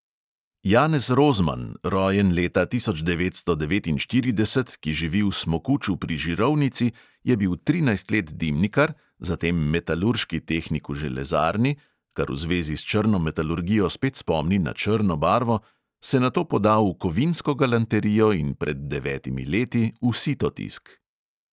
Janez rozman, rojen leta tisoč devetsto devetinštirideset, ki živi v smokuču pri žirovnici, je bil trinajst let dimnikar, zatem metalurški tehnik v železarni (kar v zvezi s črno metalurgijo spet spomni na črno barvo), se nato podal v kovinsko galanterijo in pred devetimi leti v sitotisk.